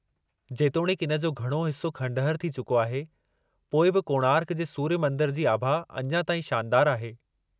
जेतोणीकि इन जो घणो हिस्सो खंडहर थी चुको आहे, पोइ बि कोणार्क जे सूर्य मंदर जी आभा अञा ताईं शानदारु आहे।